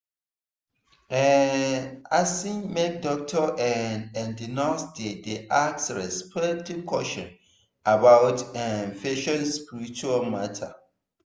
ehhhh asin make doctor[um]and nurse dey dey ask respectful question about[um]patient spiritual matter.